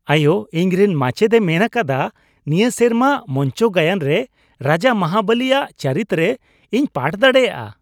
ᱟᱭᱳ, ᱤᱧᱨᱮᱱ ᱢᱟᱪᱮᱫᱼᱮ ᱢᱮᱱ ᱟᱠᱟᱫᱟ ᱱᱤᱭᱟᱹ ᱥᱮᱨᱢᱟ ᱢᱚᱧᱪᱚ ᱜᱟᱭᱟᱱ ᱨᱮ ᱨᱟᱡᱟ ᱢᱚᱦᱟᱵᱚᱞᱤᱼᱟᱜ ᱪᱟᱹᱨᱤᱛ ᱨᱮ ᱤᱧ ᱯᱟᱴᱷ ᱫᱟᱲᱮᱭᱟᱜᱼᱟ ᱾